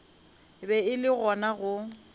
be e le gona go